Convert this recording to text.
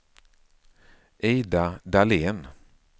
Ida Dahlén